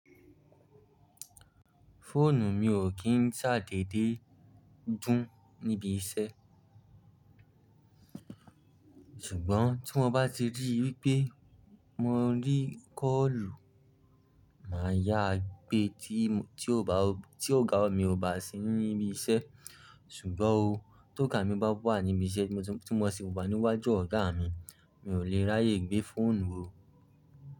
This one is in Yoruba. Fóònù mi ò kí ń ṣàdédé dún níbi iṣẹ́. Ṣùgbọ́n tí mo bá ti rí wípé mo ń rí kọ́ọ̀lù, mà á yá gbé tí ọ̀gá mi ò bá sí ní ibi iṣẹ́. Ṣùgbọ́n o, tó ga mi bá wà níbi iṣẹ́ tí mo sì bá wà níwájú ọ̀gá mi, mi ò lè ráyè gbé fóònù ò.